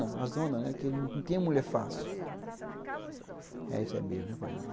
A zona, que não tem mulher fácil.